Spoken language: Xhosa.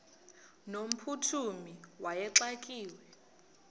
no mphuthumi wayexakiwe